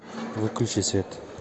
сбер включи онли тру беливерс